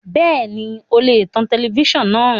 Bẹ́ẹ̀ni o lè tan tẹlẹfísàn náà